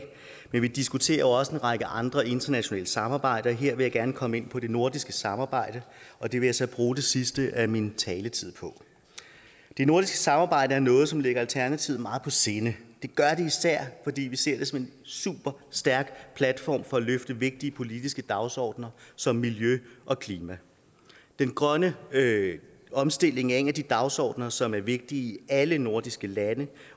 men vi diskuterer jo også en række andre internationale samarbejder og her vil jeg gerne komme ind på det nordiske samarbejde og det vil jeg så bruge det sidste af min taletid på det nordiske samarbejde er noget som ligger alternativet meget på sinde det gør det især fordi vi ser det som en super stærk platform for at løfte vigtige politiske dagsordener som miljø og klima den grønne omstilling er en af de dagsordener som er vigtige i alle nordiske lande